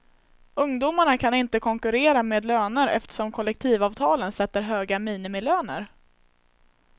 Ungdomarna kan inte konkurrera med löner eftersom kollektivavtalen sätter höga minimilöner.